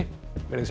veriði sæl